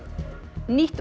nýtt